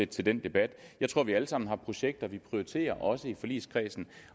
til den debat jeg tror vi alle sammen har projekter vi prioriterer også i forligskredsen